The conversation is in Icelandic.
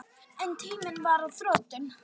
En tíminn var á þrotum.